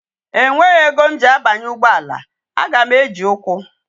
E nweghi ego m ji abanye ugboala, a ga m eji ukwu